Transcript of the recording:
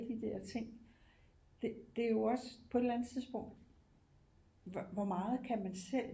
De der ting det det jo også på et eller andet tidspunkt hvor meget kan man selv